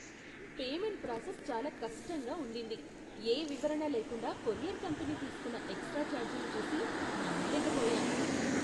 Payment process చాలా కష్టంగా ఉండింది, ఏ వివరణ లేకుండా కొరియర్ కంపెనీ తీసుకున్న ఎక్స్ట్రా ఛార్జీలు చూసి నమ్మలేకపోయాను.